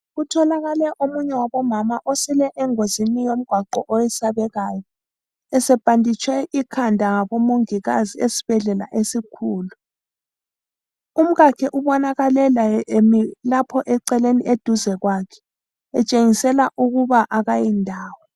Kutholakale omunye wabomama osile engozini yomgwaqo eyesabekayo. Esebhanditshwe ikhanda ngabomongikazi esibhedlela esikhulu. Umkakhe ubonakale laye emi lapho eceleni eduze kwakhe, etshengisela ukuba akayi ndawo.